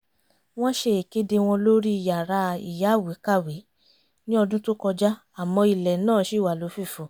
wọ́n ṣe ìkéde wọn lórí yàrá ìyáwèé-kàwé ní ọdún tó kọjá àmọ́ ilẹ̀ náà ṣì wà lófìfo